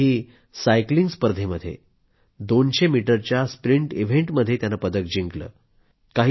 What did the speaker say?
तेही सायकलिंग स्पर्धेमध्ये 200 मीटरच्या स्प्रिंट इव्हेंटमध्ये माझ्यासाठी आनंद साजरा करण्याचे आणखी एक कारण आहे